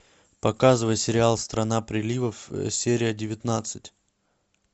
показывай сериал страна приливов серия девятнадцать